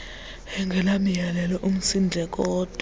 angenamiyolelo umsindleko owodwa